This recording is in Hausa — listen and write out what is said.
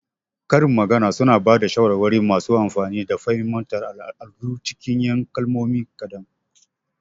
Karin magana suna ba da shawarwari masu amfani da fahimtar al'adu cikin 'yan kalmomi kaɗan.